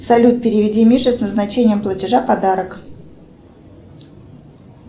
салют переведи мише с назначением платежа подарок